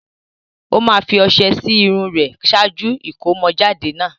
Ó máa fi ọṣẹ sí irun rẹ̀ ṣáájú ìkómọjáde náà.